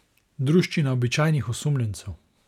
Druščina običajnih osumljencev?